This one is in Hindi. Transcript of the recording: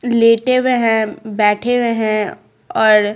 लेटे हुए हैं बैठे हुए हैं और--